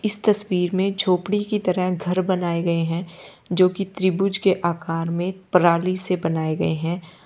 इस तस्वीर में झोपड़ी की तरह घर बनाए गए हैं जो कि त्रिभुज के आकार में प्राली से बनाए गए हैं। --